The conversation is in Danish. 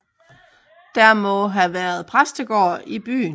Der har været præstegård i byen